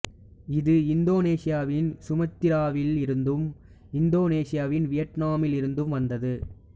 இது இந்தோனேசியாவின் சுமத்திராவில் இருந்தும் இந்தோசீனாவின் வியட்நாமில் இருந்தும் வந்தது